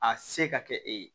A se ka kɛ e ye